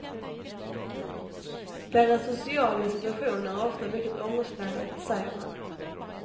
Deras sociala situation är ofta mycket ångestladdad, säger han.